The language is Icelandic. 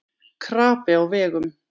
Krapi á vegum